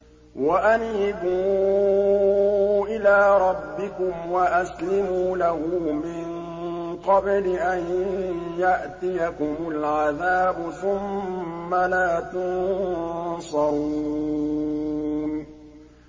وَأَنِيبُوا إِلَىٰ رَبِّكُمْ وَأَسْلِمُوا لَهُ مِن قَبْلِ أَن يَأْتِيَكُمُ الْعَذَابُ ثُمَّ لَا تُنصَرُونَ